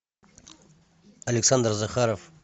александр захаров